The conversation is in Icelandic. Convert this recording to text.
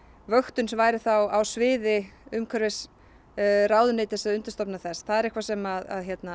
vöktun væri þá á sviði umhverfisráðuneyti og undirstofnana þess það er eitthvað sem